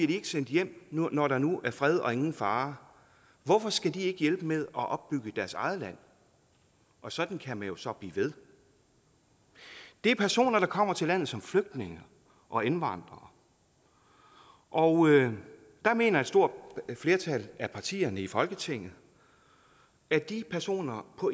de ikke sendt hjem når der nu er fred og ingen fare hvorfor skal de ikke hjælpe med at opbygge deres eget land og sådan kan man jo så blive ved det er personer der kommer til landet som flygtninge og indvandrere og der mener et stort flertal af partierne i folketinget at de personer på